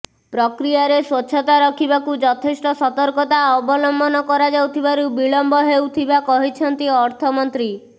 ପ୍ରକ୍ରିୟାରେ ସ୍ବଚ୍ଛତା ରଖିବାକୁ ଯଥେଷ୍ଟ ସତର୍କତା ଅବଲମ୍ବନ କରାଯାଉଥିବାରୁ ବିଳମ୍ବ ହେଉଥିବା କହିଛନ୍ତି ଅର୍ଥ ମନ୍ତ୍ରୀ